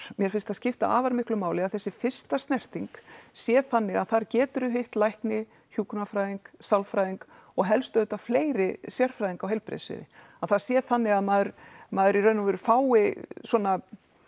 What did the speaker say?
mér finnst það skipta afar miklu máli að þessi fyrsta snerting sé þannig að þar geturðu hitt lækni hjúkrunarfræðing sálfræðing og helst auðvitað fleiri sérfræðinga á heilbrigðissviði það sé þannig að maður maður í raun og veru fái svona